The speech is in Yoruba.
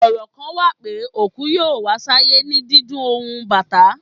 Ọrọ kan wa pe, oku yoo pada wa sayè ni díndún ohun Batà.